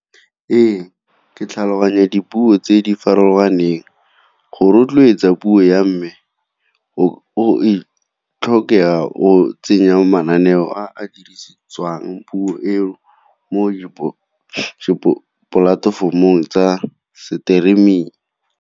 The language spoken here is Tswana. Ee, ke tlhaloganya dipuo tse di farologaneng. Go rotloetsa puo ya mme o go tsenya mananeo a a dirisetswang puo eo mo dipolatefomong tsa streaming.